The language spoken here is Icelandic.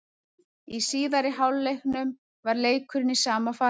Í síðari hálfleiknum var leikurinn í sama farinu.